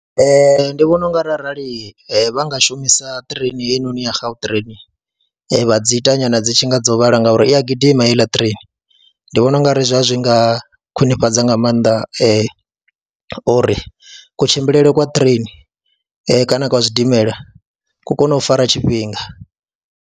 Ee, ndi vhona u nga ri arali vha nga shumisa ṱireini heyinoni ya Gautrain vha dzi ita nyana dzi tshi nga dzo vhala ngauri i a gidima heiḽa ṱireini, ndi vhona u ngari zwa zwi zwi nga khwiṋifhadza nga maanḓa uri kutshimbilele kwa ṱireini kana kwa zwidimela ku kone u fara tshifhinga.